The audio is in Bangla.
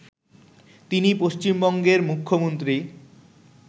তিনি পশ্চিমবঙ্গের মুখ্যমন্ত্রী